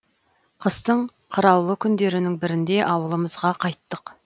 қыстың қыраулы күндерінің бірінде ауылымызға қайттық